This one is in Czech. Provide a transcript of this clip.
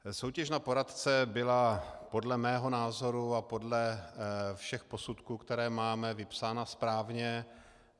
Soutěž na poradce byla podle mého názoru a podle všech posudků, které máme, vypsána správně.